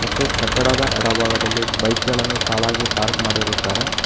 ಮತ್ತು ಕಟ್ಟಡದ ಎಡ ಭಾಗದಲ್ಲಿ ಬೈಕ್ ಗಳನ್ನು ಸಾಲಗಿ ಪಾರ್ಕ್ ಮಾಡಿರುತ್ತಾರೆ.